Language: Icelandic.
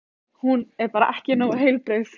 Hún er bara ekki nógu heilbrigð.